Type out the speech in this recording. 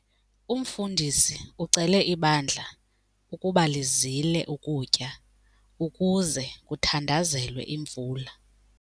Umfundisi ucele ibandla ukuba lizile ukutya ukuze kuthandazelwe imvula.